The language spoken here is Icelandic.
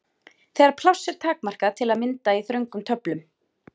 Þegar pláss er takmarkað, til að mynda í þröngum töflum.